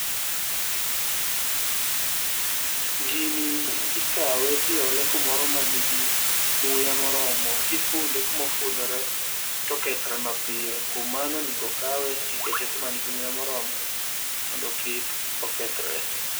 Gini ikawe tiole kumoro manigi muya moromo, kifunde kumofundre tokethre mapiyo. Kuom mano onego okawe tikete kuma nigi muya moromo mondo kik okethre.